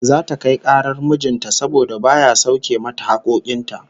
Zata kai karar mijin ta saboda baya sauke mata hakkokin ta